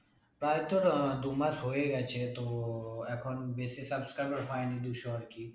প্রায় তোর আহ দু মাস হয়ে গেছে তো এখন বেশি subscribers হয়নি দুশো আরকি